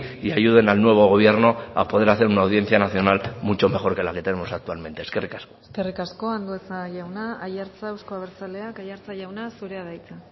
y ayuden al nuevo gobierno a poder hacer una audiencia nacional mucho mejor que la que tenemos actualmente eskerrik asko eskerrik asko andueza jauna aiartza euzko abertzaleak aiartza jauna zurea da hitza